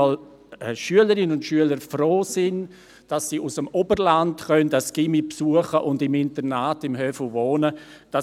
Denn Schülerinnen und Schüler aus Regionen, zum Beispiel aus dem Oberland, sind manchmal froh, das Gymnasium besuchen und im Internat des «Höfu» wohnen zu können.